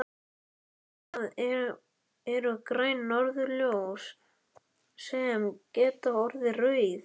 Það eru græn norðurljós sem geta orðið rauð.